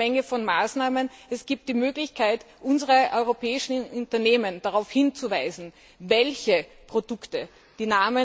Es gibt jede Menge Maßnahmen, es gibt die Möglichkeit, unsere europäischen Unternehmen darauf hinzuweisen, welche Produkte das sind.